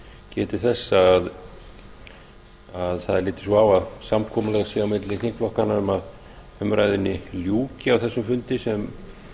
geti þess að það er litið svo á að samkomulag sé á milli þingflokkanna um að umræðunni ljúki á þessum fundi sem